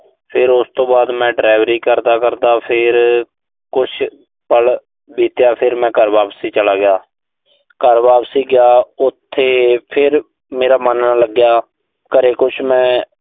ਫਿਰ ਉਸ ਤੋਂ ਬਾਅਦ ਮੈਂ delivery ਕਰਦਾ-ਕਰਦਾ, ਫਿਰ ਕੁਸ਼ ਪਲ ਬੀਤਿਆ। ਫਿਰ ਮੈਂ ਘਰ ਵਾਪਸ ਚਲਾ ਗਿਆ। ਘਰ ਵਾਪਸ ਗਿਆ, ਉਥੇ ਫਿਰ ਮੇਰਾ ਮਨ ਨਾ ਲੱਗਿਆ। ਘਰ ਕੁਸ਼ ਮੈਂ